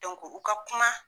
u ka kuma